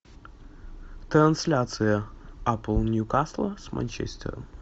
трансляция апл нью касла с манчестером